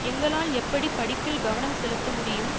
எங்களால் எப்படி படிப்பில் கவனம் செலுத்த முடியும்